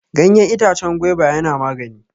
Ganyen itacen gwaiba yana magani.